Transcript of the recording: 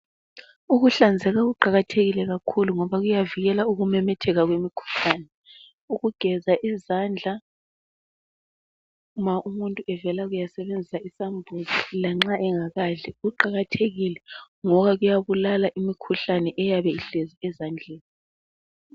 Ukuhlanzeka kuqakathekile kakhulu ngoba kuyavikela ukumemetheka kwemikhuhlane . Ukugeza izandla ma umuntu evela kuyasebenzisa isambuzi lanxa engakadli kuqakathekile ngoba kuyabulala imikhuhlane eyabe ihlezi ezandleni.